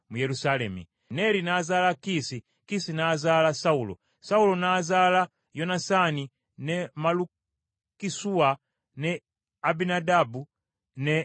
Neeri n’azaala Kiisi, Kiisi n’azaala Sawulo. Sawulo n’azaala Yonasaani, ne Malukisuwa, ne Abinadaabu ne Esubaali.